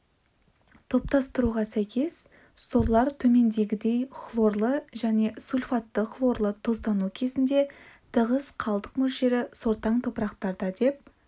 топтастыруға сәйкес сорлар төмендегідей хлорлы және сульфатты-хлорлы тұздану кезінде тығыз қалдық мөлшері сортаң топырақтар деп